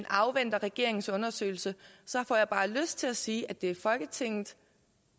afventer regeringens undersøgelse så får jeg bare lyst til at sige at det er folketinget